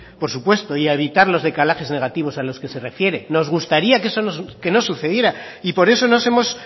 por supuesto y a evitar los decalajes negativos a los que se refiere nos gustaría que no sucediera y por eso nos hemos